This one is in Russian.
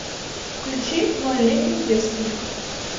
включи нольлетний девственник